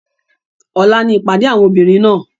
Ọ̀la ni ìpàdé àwọn obìnrin náà.